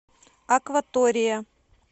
акватория